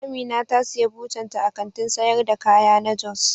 Amina ta siya butan ta a Kantin sayar da kaya na jos.